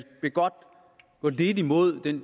vil godt gå lidt imod den